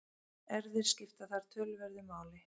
Erfðir skipta þar töluverðu máli.